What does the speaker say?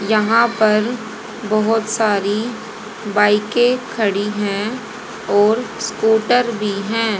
यहां पर बहोत सारी बाइके खड़ी हैं और स्कूटर भी हैं।